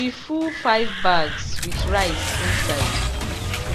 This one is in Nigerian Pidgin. we full five bags with rice inside